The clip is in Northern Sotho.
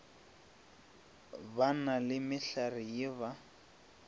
na le mehlare ye ba